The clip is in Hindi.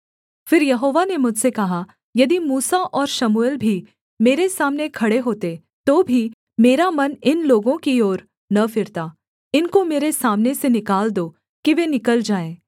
फिर यहोवा ने मुझसे कहा यदि मूसा और शमूएल भी मेरे सामने खड़े होते तो भी मेरा मन इन लोगों की ओर न फिरता इनको मेरे सामने से निकाल दो कि वे निकल जाएँ